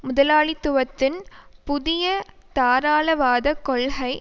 முதலாளித்துவத்தின் புதிய தாராளவாத கொள்கை